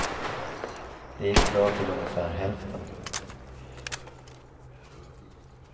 Det gick bra till ungefär hälften.